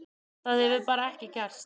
Það hefur bara ekki gerst.